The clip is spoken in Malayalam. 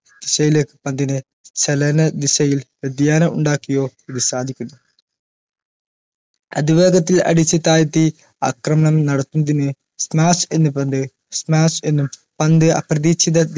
ദിശയിലേക്ക് പന്തിനെ ചലന ദിശയിൽ വ്യതിയാനം ഉണ്ടാക്കിയോ ഇത് സാധിക്കുന്നു അതിവേഗത്തിൽ അടിച്ചു താഴ്ത്തി അക്രമണം നടത്തുന്നതിന് smash എന്ന് പന്ത് smash എന്ന് പന്ത് അപ്രതീക്ഷിത